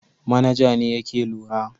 Manaja ne yake lura.